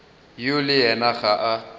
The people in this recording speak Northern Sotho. yo le yena ga a